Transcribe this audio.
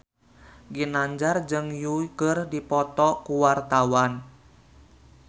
Ginanjar jeung Yui keur dipoto ku wartawan